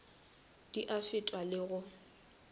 di a fetšwa le go